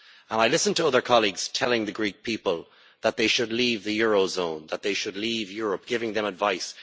I listened to other colleagues telling the Greek people that they should leave the eurozone, that they should leave Europe, giving them advice.